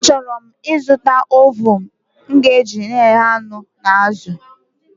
A chọrọ m ị zụta ovuun m ga eji eghe anụ na azụ